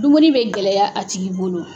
Dumuni bɛ gɛlɛya a tigi bolo.